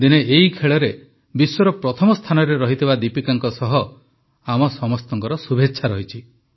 ଦିନେ ଏହି ଖେଳରେ ବିଶ୍ୱର ପ୍ରଥମ ସ୍ଥାନରେ ରହିଥିବା ଦୀପିକାଙ୍କ ସହ ଆମ ସମସ୍ତଙ୍କ ଶୁଭେଚ୍ଛା ରହିଛି